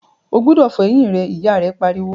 o gbúdọ̀ fọ eyín rẹ! ìyá rẹ̀ pariwo.